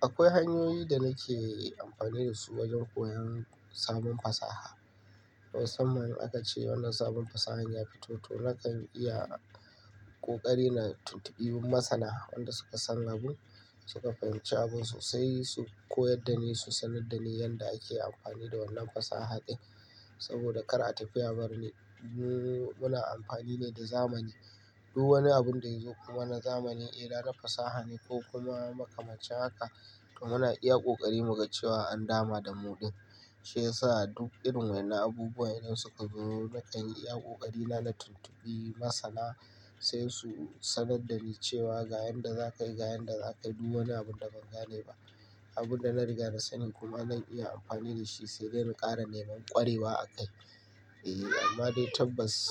akwai hanyoyi da nake amfani da su wajen koyon sabon fasaha. Musamman in aka ce wannan sabuwar fasahar ta fito, to nakan iya kokari na tuntubi masana wanda suka san abun, suka fahimci abun, sai su koyar da ni, su sanar da ni yanda ake amfani da wannan fasaha ɗin. Saboda kar a tafi a bar ni, mu muna amfani ne da zamani. Duk wani abun da ya zo mana na zamani, idan naga fasaha ne ko kuma makamashi haka, to muna iya ƙoƙari muga cewa an dama damu ɗin. Shiyasa duk irin waɗannan abubuwan idan suka zo, nakan yi iya ƙoƙari na tuntuɓi masana sai su sanar da ni cewa ga yanda za ka yi, ga yanda za ka yi. Duk wani abun da ban gane ba, abun da na riga da sanin kuma zan iya amfani da shi sai dai na ƙara neman ƙwarewa a kai. Eh, amma dai tabbas.